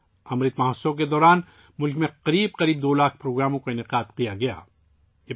'امرت مہوتسو' کے دوران ملک میں تقریباً دو لاکھ پروگرام منعقد کیے گئے ہیں